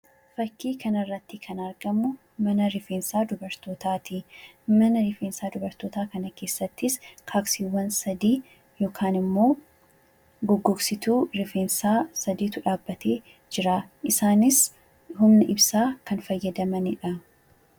Fakkii kana irratti kan argamu mana rifeensaa dubartootaati. Mana rifeensaa dubartootaa kana keessattis, goggogsituu rifeensaa sadiitu dhaabatee argama. Isaanis humna ibsaa kan fayyadamanidha.